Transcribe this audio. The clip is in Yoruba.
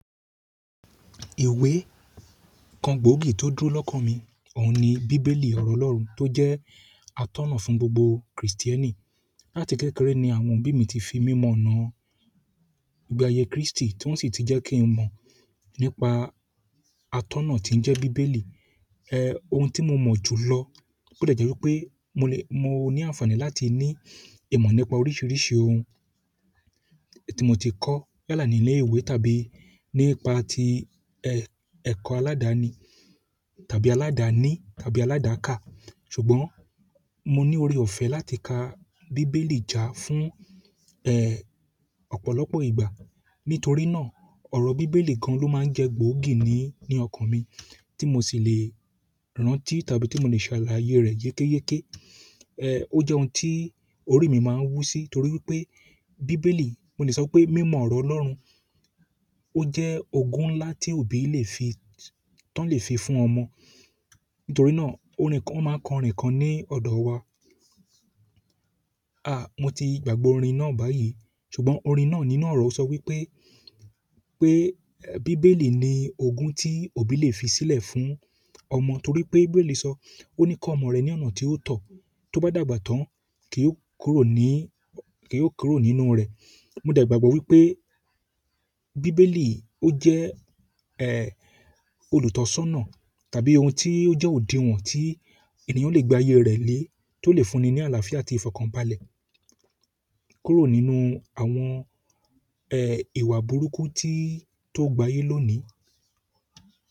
Ìwé kan gbóògì tó dúró lọ́kàn mi, òun ni bíbélì ọ̀rọ̀ Ọlọ́run tó jẹ́ atọ́nà fún gbogbo krìstíẹ́nì. Láti kékeré ni àwọn òbí mi ti fi mí mọ ọ́nà ìgbẹ́ àyè Kristi ti won sì ti je kin mọ nípa atọ́nà tí ń jẹ́ bíbélì. Ẹ, ohun tí mo mọ̀ jùlọ, ó de jẹ́ wípé mo lè, mo ní àǹfàní láti ní ìmọ̀ nípa oríṣiríṣi ohun tí mo ti kọ́ yálà nílé ìwé tàbí nípa ti ẹ̀, ẹ̀kọ́ aládani tàbí aládàní tàbí aládàká. Ṣùgbọ́n mo ní oore ọ̀fẹ́ láti ka bíbélì já fún, ẹ́, ọ̀pọ̀lọpọ̀ ìgbà. Nítorí náà, ọrọ Bíbélì nìkan lo máa ń je gbòógì nínú ọkan mi, ti mo sì le rántí tàbí ti mo le sàlàyé re yekeyeke. Ẹ, ó jẹ́ ohun tí orí mi máa ń wú sí torí wípé bíbélì, mo lè sọ pé mímọ̀ ọ̀rọ̀ Ọlọ́run, ó jẹ́ ogun ńlá tí òbí lè fi, tán lè fi fún ọmọ. Nítorí náà, órin kan, won máa ń kọ orin kan ní ọ̀dọ̀ wa. A, mo ti gbàgbe orin náà báyìí, ṣùgbọ́n orin náà nínú ọ̀rọ̀ sọ wípé, pé bíbélì ni ogun tí òbí lè fi sílẹ̀ fún ọmọ torí pé bíbélì sọ, "Ó ní kó ọmọ rẹ ní ọ̀nà tí ó tọ́, tó bá dàgbà tán, kí ó kúrò ní, kí ó kúrò nínú rẹ̀." Mo de gbàgbọ́ wípé bíbélì ó jẹ́, ẹ́, olùtọ́sọ́nà tàbí ohun tí ó jẹ́ òdinwọ̀n tí ènìyàn lè gbé ayé rẹ̀ lé tó lè fúnni ní àlàáfíà àti ìfọ̀kànbalẹ̀ kúrò nínú àwọn, ẹ́, ìwà burúkú tí, tó gbayí lónìí.